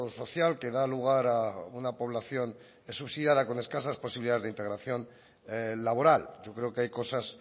social que da lugar a una población eso sí con escasas posibilidades de integración laboral yo creo que hay cosas